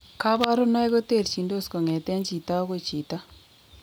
Kabarunoik koterchindos kong'etengei chito agoi chito